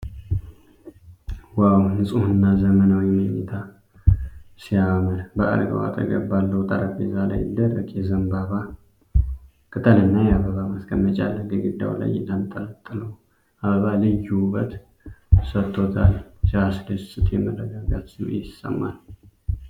ዋው! ንጹህና ዘመናዊ መኝታ ክፍል ሲያምር! በአልጋው አጠገብ ባለው ጠረጴዛ ላይ ደረቅ የዘንባባ ቅጠልና የአበባ ማስቀመጫ አለ። ግድግዳው ላይ የተንጠለጠለው አበባ ልዩ ውበት ሰጥቶታል። ሲያስደስት! የመረጋጋት ስሜት ይሰማል።